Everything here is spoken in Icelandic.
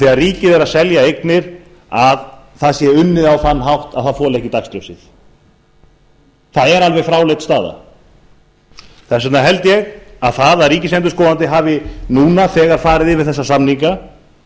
þegar ríkið er að selja eignir að það sé unnið á þann hátt að það þoli ekki dagsljósið það er alveg fráleit staða þess vegna held ég að það að ríkisendurskoðandi hafi nú þegar farið yfir þessa samninga